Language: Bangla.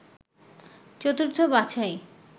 চতুর্থ বাছাই